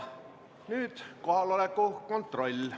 Nüüd teeme kohaloleku kontrolli.